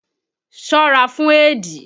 Ṣọ́ra fún éèdì!